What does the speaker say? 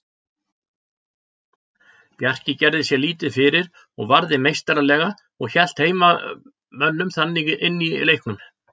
Bjarki gerði sér lítið fyrir og varði meistaralega og hélt heimamönnum þannig inni í leiknum.